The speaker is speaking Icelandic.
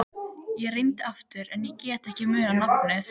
Ég reyndi aftur en ég gat ekki munað nafnið.